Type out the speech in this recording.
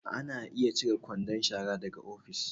Ana iya cire kwandon shara daga ofis